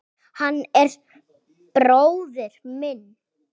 Hann er bróðir minn.